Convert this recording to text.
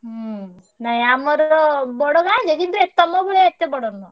ହୁଁ ନା ଆମର ବଡ ଗାଁ ଯେ କିନ୍ତୁ ଏ ତମ ଭଳିଆ ଏତେ ବଡ ନୁହଁ।